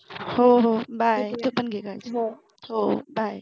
हो हो bye तू पण घे काळजी हो bye